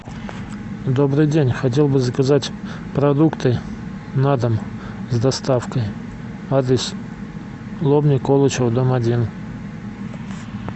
добрый день хотел бы заказать продукты на дом с доставкой адрес лобня колычева дом один